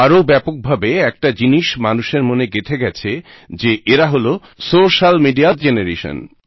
আরও ব্যাপকভাবে একটি জিনিস মানুষের মনে গেঁথে গেছে যে এরা হলো সোশ্যাল মিডিয়া জেনারেশন